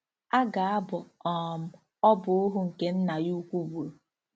A ga-abọ um ọbọ ohu nke nna ya ukwu gburu.